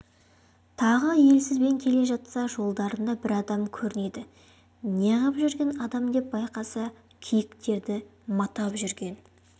тағы елсізбен келе жатса жолдарында бір адам көрінеді неғып жүрген адам деп байқаса киіктерді матап жүрген